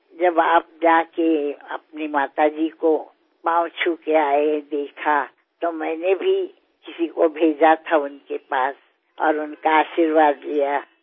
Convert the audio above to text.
যখন আপনি আপনার মায়ের পদধূলি নিয়ে এসেছিলেন তা দেখে আমিও একজনকে পাঠিয়েছিলাম ওঁর কাছে তাঁর আশীর্বাদ নিতে